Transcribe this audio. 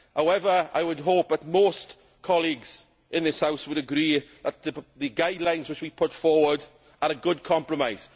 However, I would hope that most colleagues in this House would agree that the guidelines which we put forward are a good compromise.